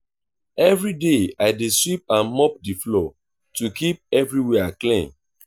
every day i dey sweep and mop the floor to keep everywhere clean.